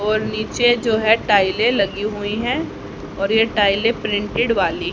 और नीचे जो है टाइलें लगी हुई हैं और ये टाइलें प्रिंटेड वाली--